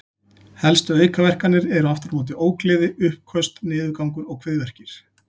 Helstu aukaverkanir eru aftur á móti ógleði, uppköst, niðurgangur og kviðverkir.